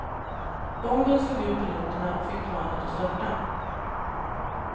Bomben slog ut piloterna och fick planet att störta.